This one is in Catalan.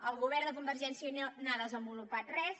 el govern de convergència i unió no ha des envolupat res